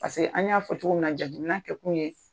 Paseke an y'a fɔ cogo min na jateminɛ kɛ kun ye.